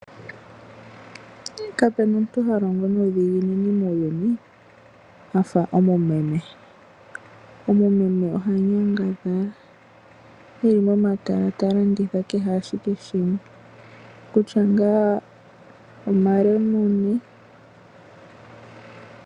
Kapuna omuntu ha longo nuudhiginini muuyuni afa omu meme, omumeme oha nyangadhala eli momatala ta landitha kehe ashike shimwe kutya ngaa omalemune.